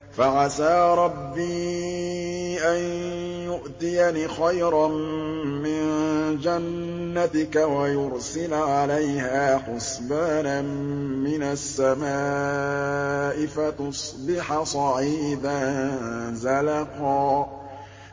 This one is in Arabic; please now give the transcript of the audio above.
فَعَسَىٰ رَبِّي أَن يُؤْتِيَنِ خَيْرًا مِّن جَنَّتِكَ وَيُرْسِلَ عَلَيْهَا حُسْبَانًا مِّنَ السَّمَاءِ فَتُصْبِحَ صَعِيدًا زَلَقًا